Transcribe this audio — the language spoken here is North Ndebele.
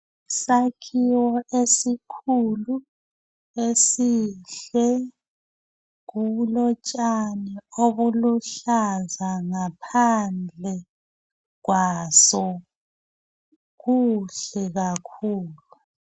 Sakhiwo esikhulu, esihle, kulotshani obuluhlaza ngaphandle kwaso, kuhle kakhulu.